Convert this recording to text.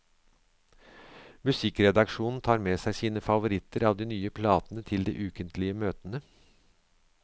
Musikkredaksjonen tar med seg sine favoritter av de nye platene til de ukentlige møtene.